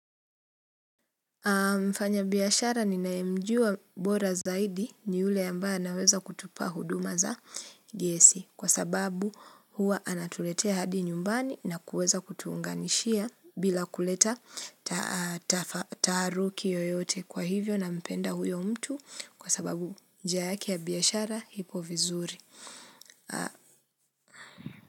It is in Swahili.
Mfanya biashara ninaemjua bora zaidi ni ule ambaye anaweza kutupa huduma za gesi kwa sababu huwa anatuletea hadi nyumbani na kuweza kutunganishia bila kuleta taaruki yoyote kwa hivyo nampenda huyo mtu kwa sababu njia yake ya biashara iko vizuri.